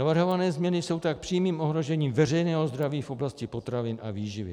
Navrhované změny jsou tak přímým ohrožením veřejného zdraví v oblasti potravin a výživy.